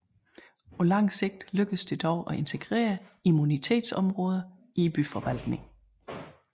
På langt sigt lykkedes det dog at integrere immunitetsområderne i byforvaltningen